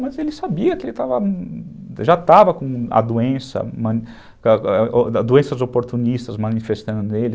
Mas ele sabia que ele já estava com a doença, doenças oportunistas manifestando nele.